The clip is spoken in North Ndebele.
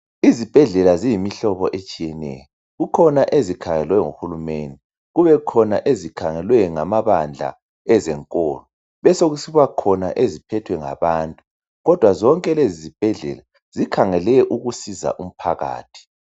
Izibhedlela ziyimihlobo etshiyeneyo , kukhona ezikhangelwe nguhulumende . Kubekhona ezikhangelwe ngamabandla ezenkolo ,besokusiba khona eziphethwe ngabantu .Kodwa zonke lezi zibhedlela zikhangele ukusiza abantu.